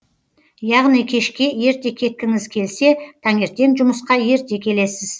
яғни кешке ерте кеткіңіз келсе таңертең жұмысқа ерте келесіз